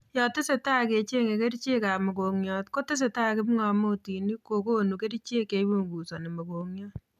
Yatesetai kechenge kerichek ab mokongiot ,kotesetai kipngamotinik kokonu kerichek cheipunguzani mokongiot